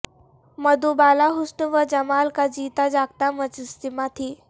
مدھوبالا حسن و جمال کا جیتا جاگتا مجسمہ تھیں